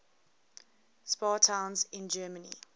spa towns in germany